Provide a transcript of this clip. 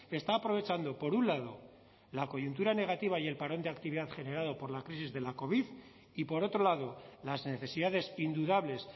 está aprovechando por un lado la coyuntura negativa y el parón de actividad generado por la crisis de la covid y por otro lado las necesidades indudables